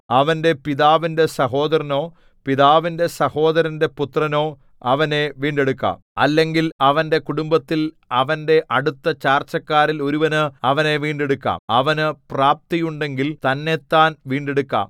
അവന്റെ പിതാവിന്റെ സഹോദരനോ പിതാവിന്റെ സഹോദരന്റെ പുത്രനോ അവനെ വീണ്ടെടുക്കാം അല്ലെങ്കിൽ അവന്റെ കുടുംബത്തിൽ അവന്റെ അടുത്ത ചാർച്ചക്കാരിൽ ഒരുവന് അവനെ വീണ്ടെടുക്കാം അവനു പ്രാപ്തിയുണ്ടെങ്കിൽ തന്നെത്താൻ വീണ്ടെടുക്കാം